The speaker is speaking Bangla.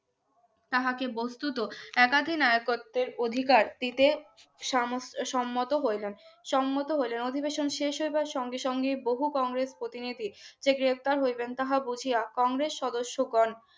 তাহাকে বস্তুত একাধিক আয় কত অধিকার পেতে সমস্ত সম্মত হইলেন অধিবেশন শেষ হইবার সঙ্গে সঙ্গে বহু কংগ্রেস প্রতিনিধি যে গ্রেপ্তার হইবেন তাহা তা বুঝিয়া কংগ্রেস সদস্যগণ